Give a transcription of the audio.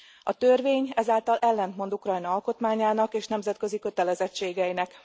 A törvény ezáltal ellentmond Ukrajna alkotmányának és nemzetközi kötelezettségeinek.